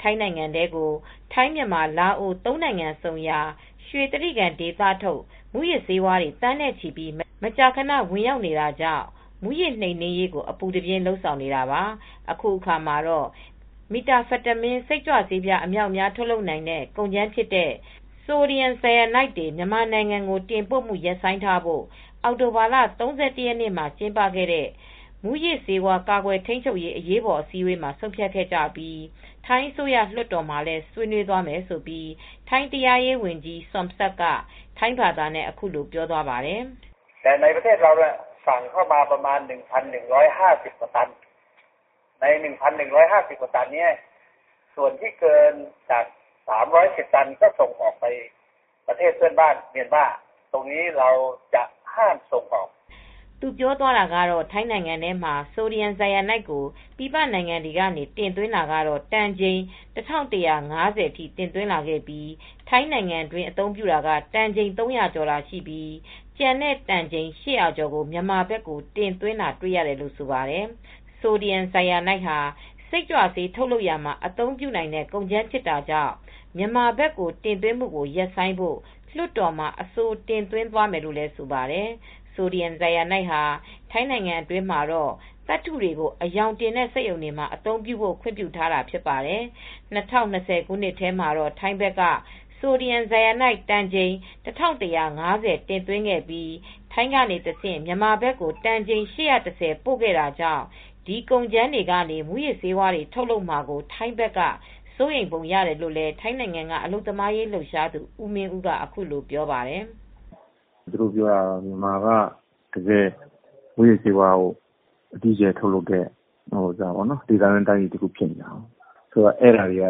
ထိုင်းနိုင်ငံထဲကို ထိုင်းမြန်မာ လာအိုဝ် သုံးနိုင်ငံဆုံရာ ရွှေတြိဂံဒေသထုတ် မူးယစ်ဆေးဝါးတွေ သန်းနဲ့ချီပြီး မကြာခန ဝင်ရောက်နေတာကြောင့် မူးယစ်နှိမ်နင်းရေးကို အပူးတပြင်း လုပ်ဆောင်နေတာပါ ။ အခုအခါမှာတော့ Methamphetamine စိတ်ကြွဆေးပြား အမြောက်အမြား ထုတ်လုပ်နိုင်တဲ့ ကုန်ကြမ်းဖြစ်တဲ့ Sodium Cyanide မြန်မာနိုင်ငံကို တင်ပို့တာတွေ ရပ်ဆိုင်းထားဖို့ အောက်တိုဘာလ ၃၁ရက်နေ့ ကျင်းပခဲ့တဲ့ မူးယစ်ဆေးဝါး ကာကွယ်ထိမ်းချုပ်ရေး အရေးပေါ် အစည်းဝေးမှာ ဆုံးဖြတ်ခဲ့ကြပြီး ထိုင်းအစိုးရ လွတ်တော်မှာလည်း ဆွေးနွေးသွားမယ်လို့ ထိုင်းတရားရေးဝန်ကြီး Somsak Thepsutim ထိုင်းဘာသာနဲ့ အခုလိုပြောသွားပါတယ်။ သူပြောသွားတာကတော့ ထိုင်းနိုင်ငံမှာ Sodium Cyanide ကို ပြည်ပနိုင်ငံတွေက တင်သွင်းတာက၁၁၅၀တန်ချိန် တင်သွင်းလာခဲ့ပြီး ထိုင်းနိုင်ငံတွင်းအသုံးပြုတာက တန်ချိန် ၃၀၀ကျော်သာ ရှိပြီး ကျန်တဲ့တန်ချိန် ၈၀၀ကျော်ကိုမြန်မာဘက်ကို တင်ပိုလိုက်တာတွေ့ရတယ်လို့ဆိုပါတယ်။ Sodium Cyanide ဟာ စိတ်ကြွဆေး ထုတ်လုပ်ရာမှာ အသုံးပြုနိုင်တဲ့ ကုန်ကြမ်းဖြစ်တာကြောင့် မြန်မာဘက်ကို တင်ပို့တာ ရပ်ဆိုင်းဖို့ လွတ်တော်မှာအဆိုတင်သွင်းသွားမယ်လို့ လည်းဆိုပါတယ်။ Sodium Cyanide ဟာ ထိုင်းနိုင်ငံအတွင်းမှာတော့ Metal Coating သတ္ထု့တွေကို အရောင်တင်တဲ့ စက်ရုံတွေမှာ အသုံးပြုဖို့ ခွင့်ပြုထားပါတယ် ။၂၀၂၀ ခုနှစ်ထဲမှာတော့ ထိုင်းဘက်က Sodium Cyanide တန်ချိန် ၁၁၅၀ တင်သွင်းခဲ့ပြီး ထိုင်းကနေတဆင့် မြန်မာဘက်ကို တန်ချိန် ၈၁၀ တင်ပို့ခဲ့တာကြောင့် ဒီကုန်ကြမ်းတွေကနေ မူးယစ်ဆေးဝါးတွေ ထုတ်လုပ်မှာကို ထိုင်းဘက်က စိုးရိမ်ပုံရတယ်လို့လည်း ထိုင်းနိုင်ငံက အလုပ်သမားရေးလှုပ်ရှားသူ ဦးမင်းဦး ကလည်း အခုလိုပြောပါတယ်။ " မြန်မာက မူးယစ်ဆေးဝါး အကြီးအကျယ်ထုတ်လုပ်တဲ့ ဒေသတွင်း တိုင်းပြည်ဖြစ်နေတာ။ အဲဒါတွေက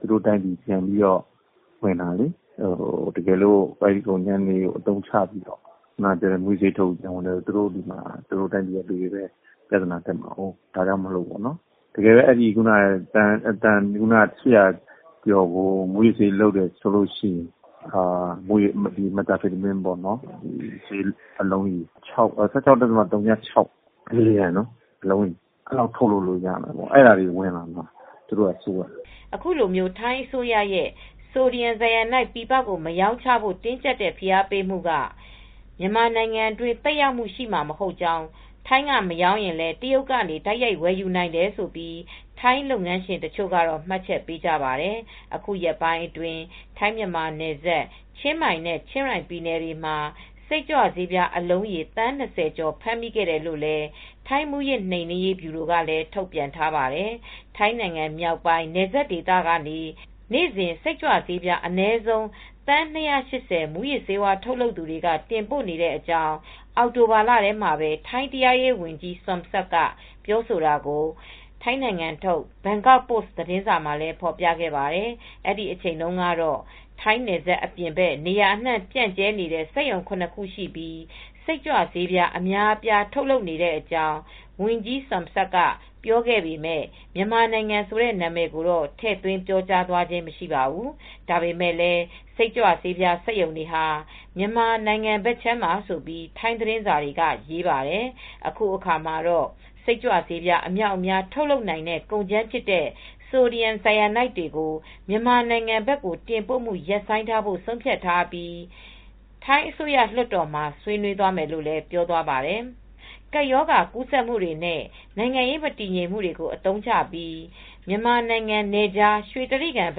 သူတို့တိုင်းပြည်ကို ပြန်ဝင်တာလေ။ တကယ်လို့ အဲဒီ တန်ပေါင်း ၈၀၀ကျော်ကို အသုံးချပြီး မူးယစ်ဆေးဝါးတွေ လုပ်မယ်ဆိုရင် Methamphetamine (၁၆. ၀၆) ဘီလီလျှံလောက် အလုံးရေ အဲဒီလောက် ထုတ်လုပ်လို့ရမယ်။ အဲဒါတွေက သူတို့နိုင်ငံထဲကို ဝင်လာမှာ စိုးရိမ်နေတယ် " အခုလို ထိုင်းအစိုးရ အနေနဲ့ Sodium Cyanide ပြည်ပကို မရောင်းချဖို့ တင်းကြပ်တဲ့ ဖိအားပေးမူက မြန်မာနိုင်ငံအတွင်း သက်ရောက်မူ ရှိမှာမဟုတ်ကြောင်း၊ ထိုင်းက မရောင်းရင်လည်း တရုတ်ကနေ တိုက်ရိုက် ဝယ်ယူနိုင်တယ်လို့ ထိုင်းလုပ်ငန်းရှင်တွေက မှတ်ချက်ပေးကြပါတယ်။ အခုရက်ပိုင်းအတွင်း ထိုင်းမြန်မာနယ်စပ် ချင်းမိုင် နဲ့ချင်ရိုင်း ပြည်နယ်တွေမှာ စိတ်ကြွဆေးပြား အလုံးရေ သန်း၂၀ကျော် ဖမ်းမိခဲ့တယ်လို့လည်း ထိုင်း မူးယစ် နိမ်နင်းရေး ဗျူရို ကလည်း ထုတ်ပြန်ထားပါတယ်။ ထိုင်းနိုင်ငံ မြောက်ပိုင်း နယ်စပ်ဒေသ ကနေ နေ့စဉ် စိတ်ကြွဆေးပြား အနည်းဆုံး သန်း ၂၈၀ မူးယစ်ဆေးထုတ်လုပ်သူတွေက တင်ပို့နေကြတဲ့ အကြောင်း အောက်တိုဘာလထဲမှာ ထိုင်းတရားရေးဝန်ကြီး Somsak Thepsutin ပြောဆိုတာကို ထိုင်းနိုင်ငံထုတ် ဘန်ကောက်ပို့စ် သတင်းစာမှာ ဖော်ပြခဲ့ပါတယ်။ အဲဒီအချိန်ကတော့ ထိုင်းနယ်စပ် အပြင်ဘက် နေရာအနှံ့ ပျံ့နှံ့နေတဲ့ စက်ရုံ ၇ ခုရှိပြီး စိတ်ကြွဆေး အများအပြား ထုတ်လုပ်နေတဲ့အကြောင်း ဝန်ကြီး Somsak ကပြောပေမဲ့ မြန်မာနိုင်ငံ ဆိုတဲ့ နာမည်ကိုတော့ ထည့်သွင်းပြောကြားသွားခြင်း မရှိပါဘူး။ ဒါပေမဲ့လည်း စိတ်ကြွဆေးပြား စက်ရုံတွေဟာ မြန်မာနိုင်ငံဘက်မှာလို့ ထိုင်းသတင်းစာက ရေးပါတယ်။ အခုအခါမှာတော့ စိတ်ကြွဆေးပြား အမြောက်အမြား ထုတ်လုပ်နိုင်တဲ့ ကုန်ကြမ်းဖြစ်တဲ့ Sodium Cyanide တွေကို မြန်မာနိုင်ငံဘက် တင်ပိုတာတွေ ရပ်ဆိုင်းထားဖို့ ဆုံးဖြတ်ပြီး ထိုင်းအစိုးရ နဲ့ လွှတ်တော်မှာ ဆွေးနွေးသွားမယ်လို့ ပြောသွားပါတယ်၊ ကပ်ရောဂါကူးစက်မှုတွေနဲ့ နိုင်ငံရေး မတည်ငြိမ်မှုတွေကို အသုံးချပြီး မြန်မာနိုင်ငံနယ်ခြား ရွှေတြိဂံနယ်ဘ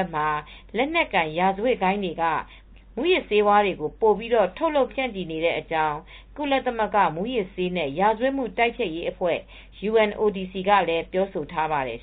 က်မှာ လက်နက်ကိုင် ရာဇဝတ်ဂိုဏ်းတွေက မူးယစ်ဆေးဝါးတွေ ပိုပြီး ထုတ်လုပ်ဖြန့်ချီနေကြတဲ့အကြောင်း ကုလသမဂ္ဂ မူးယစ်ဆေးနဲ့ ရာဇဝတ်မှု တိုက်ဖျက်ရေးအဖွဲ့ UNODC ကလည်း ပြောဆိုထားပါတယ်